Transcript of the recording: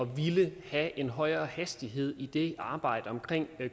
ville have en højere hastighed i det arbejde omkring